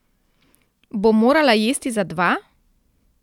Bo morala jesti za dva?